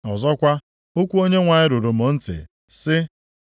Ọzọkwa, okwu Onyenwe anyị ruru m ntị, sị,